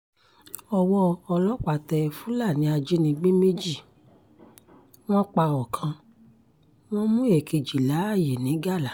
ọwọ́ ọlọ́pàá tẹ fúlàní ajínigbé méjì wọ́n pa ọkàn wọn mú èkejì láàyè ńigalà